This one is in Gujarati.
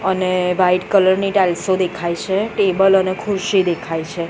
અને વ્હાઈટ કલર ની ટાઇલ્સો દેખાય છે ટેબલ અને ખુરશી દેખાય છે.